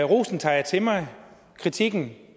rosen tager jeg til mig og kritikken